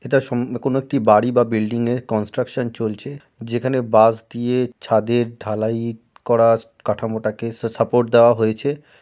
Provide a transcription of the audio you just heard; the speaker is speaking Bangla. এটা সম্ কোনো একটা বাড়ি বা বিল্ডিং এর কন্সট্রাকশন চলছে যেখানে বাঁশ দিয়ে ছাদের ঢালাই করা কাঠামোটাকে সা সাপোর্ট দেয়া হয়েছে ।